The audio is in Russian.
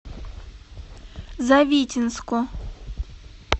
завитинску